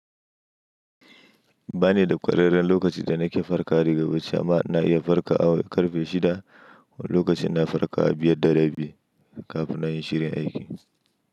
Ba ni da ƙwararren lokaci da nake farka rigar wuta amma na iya farka a karfe shida lokacin na farka a biyar da rabi kafin na yi shirin aiki.